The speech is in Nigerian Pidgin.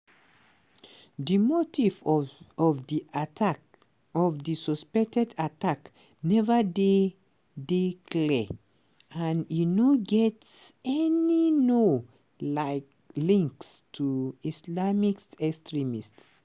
di motive of di attack of di suspected attack neva dey dey clear and e no get any known like links to islamist extremism.